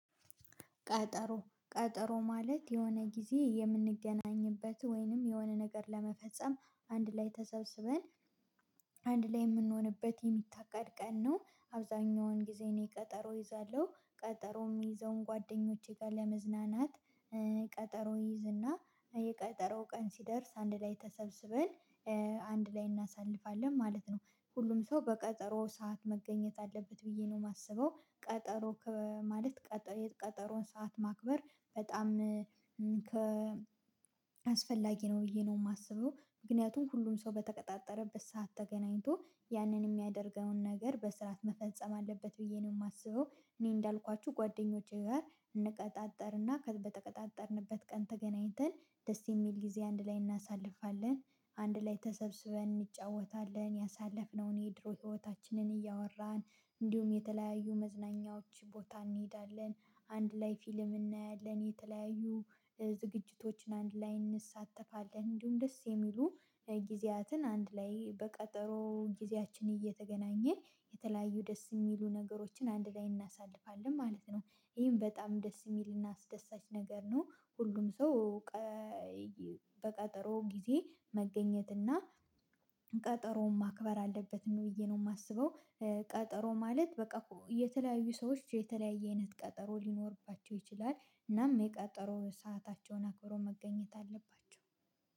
ቀጠሮ ቀጠሮ ማለት የሆነ ጊዜ የምንገናኝበት ወይንም የሆነ ነገር ለመፈጸም አንድ ላይ ተሰብስበን አንድ ላይ የምንሆንበት የሚታቀድ ቀን ነው አብዛኛውን ጊዜ እኔ ቀጠሮ እይዛለሁ ቀጠሮ የሚይዘውን ጓደኞቼ ጋር ለመዝናናት ቀጠሮ እይዝና የቀጠሮ ቀን ሲደርስ አንድ ላይ ተሰብስበን አንድ ላይ እናሳልፋለን ማለት ነው ሁሉም ሰው በቀጠሮ ሰዓት መገኘት አለበት ብዬ ነው የማስበው ቀጠሮ ማለት ቀጠሮ የቀጠሮን ሰዓት ማክበር በጣም ከ አስፈላጊ ነው ብዬ ነው የማስበው ምክንያቱም ሁሉም ሰው በተቀጣጠረበት ሰዓት ተገናኝቶ ያንን የሚያደርገውን ነገር በስርዓት መፈጸም አለበት ብዬ ነው የማስበው፤ እኔ እንዳልኳችሁ ጓደኞቼ ጋር እንቀጣጠርና በተቀጣጠርንበት ቀን ተገናኝተን ደስ የሚል ጊዜ አንድ ላይ እናሳልፋለን አንድ ላይ ተሰብስበን እንጫወታለን ያሳለፍነውን የድሮ ህይወታችንን እያወራን እንዲሁም የተለያዩ መዝናኛዎች ቦታ እንሄዳለን አንድ ላይ ፊልም እናያለን የተለያዩ ዝግጅቶችን አንድ ላይ እንሳተፋለን እንዲሁም ደስ የሚሉ ጊዜያትን አንድ ላይ በቀጠሮ ጊዜያችን እየተገናኘ የተለያዩ ደስ የሚሉ ነገሮችን አንድ ላይ እናሳልፋለን ማለት ነው ይሄን በጣም ደስ የሚልና አስደሳች ነገር ነው፤ ሁሉም ሰው በቀጠሮ ጊዜ መገኘት እና ቀጠሮውን ማክበር አለበት ነው ብዬ ነው የማስበው፤ ቀጠሮ ማለት በቃ እኮ የተለያዩ ሰዎች የተለያየ አይነት ቀጠሮ ሊኖርባቸው ይችላል እናም የቀጠሮ ሰአታቸውን አክብሮ መገኘት አለባቸው።